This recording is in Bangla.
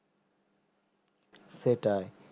সেটাই